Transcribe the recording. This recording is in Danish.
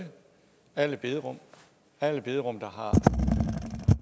alle bederum alle bederum der har